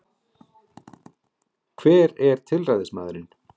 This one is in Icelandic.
Hver er tilræðismaðurinn